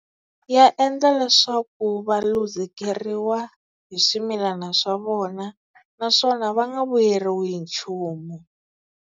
Ya endla leswaku va luzekeriwa hi swimilana swa vona, naswona va nga vuyeriwi hi nchumu.